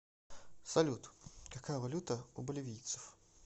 салют какая валюта у боливийцев